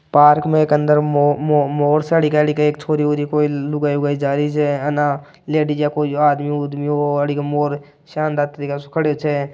पार्क में एक अंदर मो-मो-मोर सा दिखाई दे रहा है एक छोरी वोरि कोई लुगाई वोगाई जारी छे आना लेडीज या कोई आदमी उदमी हो मोर शानदार तरीका सु खड़े छ।